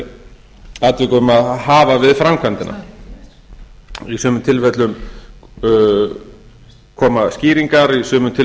eftir atvikum að hafa við framkvæmdina í sumum tilfellum koma skýringar í sumum tilfellum